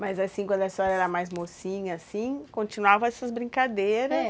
Mas assim, quando a senhora era mais mocinha, assim, continuavam essas brincadeiras? É.